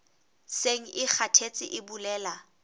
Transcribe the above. seng e kgathetse e bolela